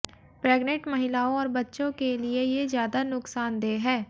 pregnant महिलाओं और बच्चों के लिए ये ज्यादा नुकसानदेह है